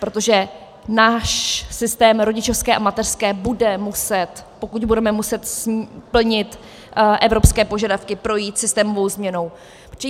Protože náš systém rodičovské a mateřské bude muset, pokud budeme muset plnit evropské požadavky, projít systémovou změnou.